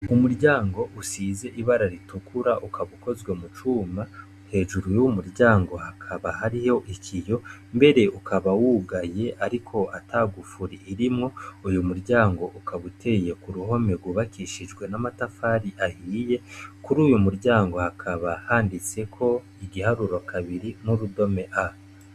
Umuryango usize ibara ritukura ukaba ukozwe mu cuma, hejuru y'uwu muryango hakaba hariyo ikiyo, mbere ukaba wugaye ariko ata gufuri irimwo, uyu muryango ukaba uteye ku ruhome rwubakishijwe n'amatafari ahiye, kuri uyu muryango hakaba handitseko igiharuro kabiri n'urudome A.